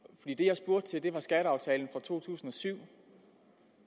jeg det var skatteaftalen fra to tusind og syv